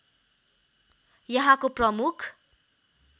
यहाँको प्रमुख